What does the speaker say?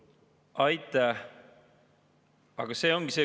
Aitäh!